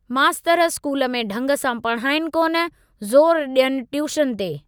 मास्तर स्कूल में ढंग सां पढाईनि कोन, ज़ोरु डि॒यनि ट्यूशन ते।